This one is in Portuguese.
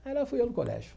Aí lá fui eu no colégio.